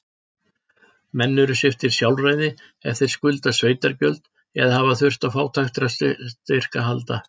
Menn eru sviptir sjálfræði ef þeir skulda sveitargjöld, eða hafa þurft á fátækrastyrk að halda.